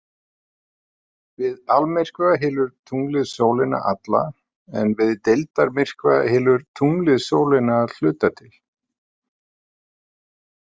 Við almyrkva hylur tunglið sólina alla en við deildarmyrkva hylur tunglið sólina að hluta til.